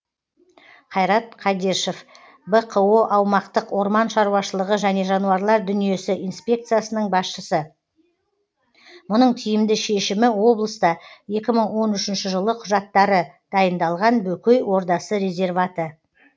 қайрат қадешев бқо аумақтық орман шаруашылығы және жануарлар дүниесі инспекциясының басшысы мұның тиімді шешімі облыста екі мың он үшінші жылы құжаттары дайындалған бөкей ордасы резерваты